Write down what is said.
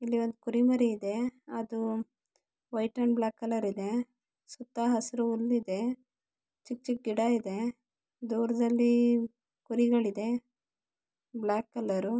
ಇಲ್ಲೊಂದು ಕೋರಿ ಮರಿ ಇದೆ ಅದು ವೈಟ್ ಅಂಡ್ ಬ್ಲಾಕ್ ಕಲರ್ ಇದೆ ಸುತ್ತ ಹಸಿರು ಹುಲ್ಲಿದೆ ಚಿಕ್ಕ ಚಿಕ್ಕ ಗಿಡ ಇದೆ ದೂರದಲ್ಲಿ ಕುರಿಗಳಿದೆ ಬ್ಲಾಕ್ ಕಲರ್ .